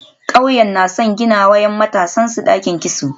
Kauyen na son ginawa ‘yan matansu dakin kitso.